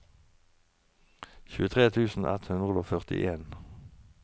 tjuetre tusen ett hundre og førtien